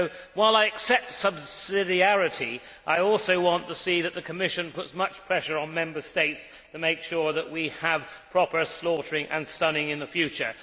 While I accept subsidiarity, I also want to see the Commission put pressure on Member States to make sure that we have proper slaughtering and stunning in the future.